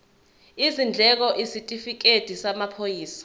izindleko isitifikedi samaphoyisa